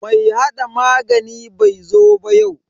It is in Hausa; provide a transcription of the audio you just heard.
Mai hada magani bai zo ba yau.